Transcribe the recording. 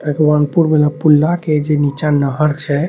पुला के जे निचे नहर छे |